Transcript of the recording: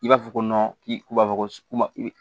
I b'a fɔ ko k'i b'a fɔ ko